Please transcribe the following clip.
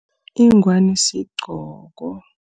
Ingwani siqgoko.